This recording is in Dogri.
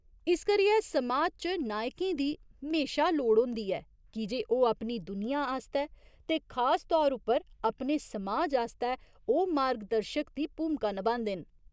इस करियै समाज च नायकें दी म्हेशा लोड़ होंदी ऐ कीजे ओह् अपनी दुनिया आस्तै ते खास तौर उप्पर अपने समाज आस्तै ओह् मार्ग दर्शक दी भूमिका नभांदे न।